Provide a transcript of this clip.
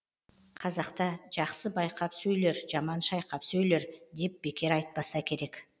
қазақта жақсы байқап сөйлер жаман шайқап сөйлер деп бекер айтпаса керек